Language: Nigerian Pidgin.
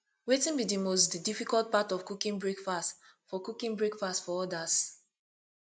wetin be di most difficult part of cooking breakfast for cooking breakfast for odas